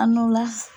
A n'o la